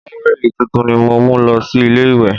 Táwẹ̀lì tuntun ni mo mú lọ sí ilé ìwẹ̀